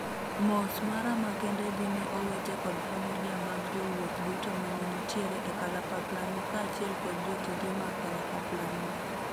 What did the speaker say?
mos mara mekende dhi ne owete kod familia mag jowuoth duto mane nitiere e kalapapla no kaachiel kod jotije mag kalapapla no,"